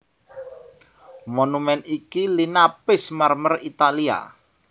Monumèn iki linapis marmer Italia